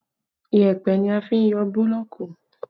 Yẹpẹ ni a fi n yọ búlọ̀ọ̀kù